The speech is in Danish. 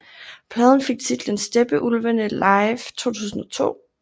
Pladen fik titlen Steppeulvene Live 2002